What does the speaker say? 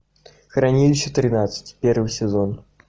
хранилище тринадцать первый сезон